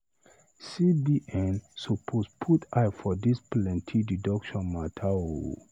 CBN suppose put eye for dis plenty deduction mata o.